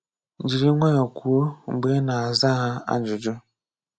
Jìrì̀ nwayọ̀ kwùò mgbè ị̀ na-azàghà ajùjù̀.